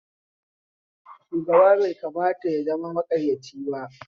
Shugaba bai kamata ya zama makaryaci ab